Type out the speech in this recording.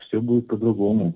все будет по-другому